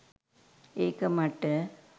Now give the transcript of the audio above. ඒක මට.